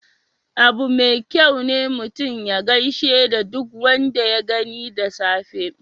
Abu mai kyau ne mutum ya gishe da duk wanda ya gani da safe.